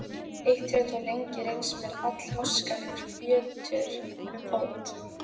Eitt hefur þó lengi reynst mér allháskalegur fjötur um fót.